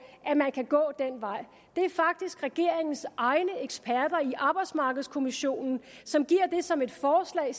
at man kan gå den vej det er faktisk regeringens egne eksperter i arbejdsmarkedskommissionen som giver det som et forslag